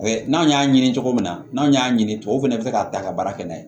n'an y'a ɲini cogo min na n'a y'a ɲini tubabuw fɛnɛ be se k'a ta ka baara kɛ n'a ye